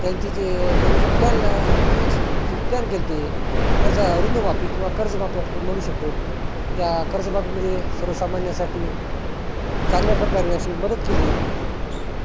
त्यांची जे अं त्यांनी जे plan ते असं ते plan करते. कर्ज अरुंद माफी किंवा कर्ज माफी आपण म्हणु शकतो. त्या कर्ज माफी मध्ये सर्व सामान्या साठी चांगल्या प्रकार अशी मदत केली